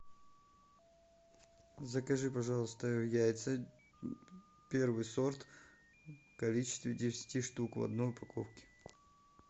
закажи пожалуйста яйца первый сорт в количестве десяти штук в одной упаковке